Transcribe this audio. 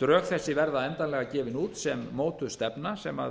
drög þessi verða endanlega gefin út sem mótuð stefna sem